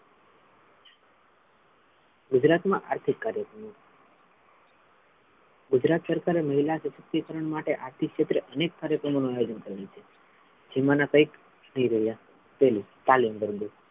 ગુજરાત મા આર્થિક કાર્યક્રમો ગુજરાત સરકાર એ મહિલા સશક્તિકરણ માટે આર્થિક ક્ષેત્રે અનેક કાર્યક્રમો નો આયોજન કર્યો છે જેમના કૈક ઐય રહ્યા પહેલું